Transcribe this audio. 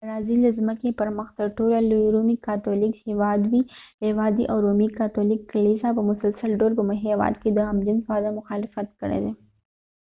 برازیل د ځمکې پر مخ تر ټولو لوي رومي کاتولیک هیواد دي او رومي کاتولیک کلیسا په مسلسل ډول په هیواد کې د هم جنس واده مخالفت کړي دي